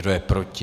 Kdo je proti?